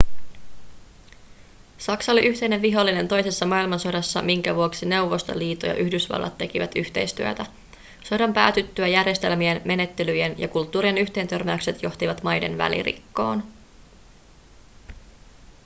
saksa oli yhteinen vihollinen toisessa maailmansodassa minkä vuoksi neuvostoliito ja yhdysvallat tekivät yhteistyötä sodan päätyttyä järjestelmien menettelyjen ja kulttuurien yhteentörmäykset johtivat maiden välirikkoon